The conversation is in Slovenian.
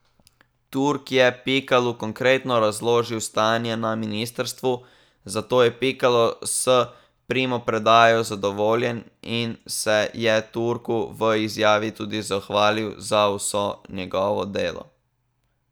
Turk je Pikalu konkretno razložil stanje na ministrstvu, zato je Pikalo s primopredajo zadovoljen in se je Turku v izjavi tudi zahvalil za vso njegovo delo.